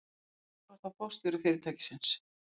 Skúli var þá forstjóri fyrirtækisins.